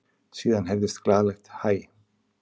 Síðan heyrðist glaðlegt hæ.